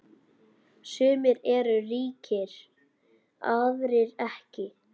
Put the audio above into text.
Sumir eru ríkir, aðrir ekki.